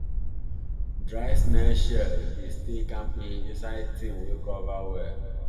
dry snail shell dey stay kampe inside tin wey cover well